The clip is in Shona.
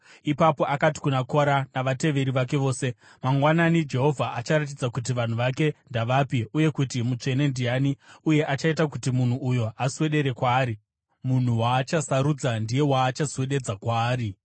Ipapo akati kuna Kora navateveri vake vose, “Mangwanani Jehovha acharatidza kuti vanhu vake ndavapi uye kuti mutsvene ndiani, uye achaita kuti munhu uyo aswedere kwaari. Munhu waachasarudza ndiye waachaswededza kwaari.